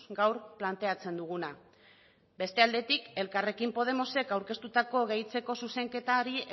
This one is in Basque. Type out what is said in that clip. gaur planteatzen duguna beste aldetik elkarrekin podemosek aurkeztutako gehitzeko zuzenketari